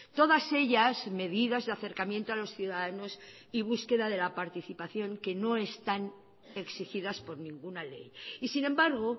todas ellas medidas de acercamiento a los ciudadanos y búsqueda de la participación que no están exigidas por ninguna ley y sin embargo